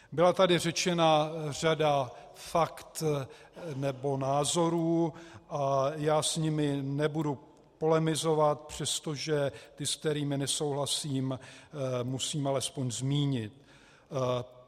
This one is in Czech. Byla tady řečena řada faktů nebo názorů a já s nimi nebudu polemizovat, přestože ty, s kterými nesouhlasím, musím alespoň zmínit.